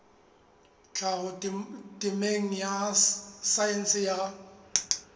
tlhaho temeng ya saense ya